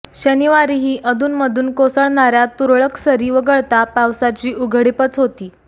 शनिवारीही अधूनमधून कोसळणार्या तुरळक सरी वगळता पावसाची उघडीपच होती